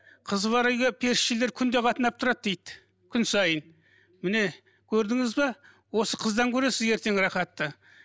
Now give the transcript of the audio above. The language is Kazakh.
қызы бар үйге періштелер күнде қатынап тұрады дейді күн сайын міне көрдіңіз бе осы қыздан көресіз ертең рахатты